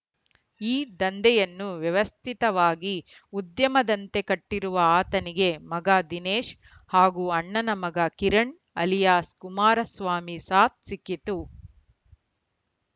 ಈ ದಂಧೆಯನ್ನು ವ್ಯವಸ್ಥಿತವಾಗಿ ಉದ್ಯಮದಂತೆ ಕಟ್ಟಿರುವ ಆತನಿಗೆ ಮಗ ದಿನೇಶ್‌ ಹಾಗೂ ಅಣ್ಣನ ಮಗ ಕಿರಣ್‌ ಅಲಿಯಾಸ್‌ ಕುಮಾರಸ್ವಾಮಿ ಸಾಥ್‌ ಸಿಕ್ಕಿತು